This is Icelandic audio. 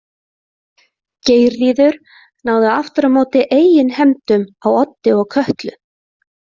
Geirríður náði aftur á móti eigin hefndum á Oddi og Kötlu.